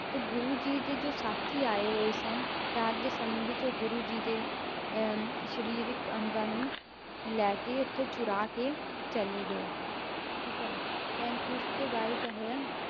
ਤੇ ਗੁਰੂ ਜੀ ਦੇ ਜੋ ਸਾਥੀ ਆਏ ਹੋਏ ਸਨ, ਰਾਤ ਦੇ ਸਮੇਂ ਵਿੱਚ ਉਹ ਗੁਰੂ ਜੀ ਦੇ ਅਹ ਸਰੀਰਕ ਅੰਗਾਂ ਨੂੰ ਲੈ ਕੇ ਉੱਥੋਂ ਚੁਰਾ ਕੇ ਚਲੇ ਗਏ, ਠੀਕ ਹੈ then ਉਸ ਤੋਂ ਬਾਅਦ ਕਿਆ ਹੋਇਆ,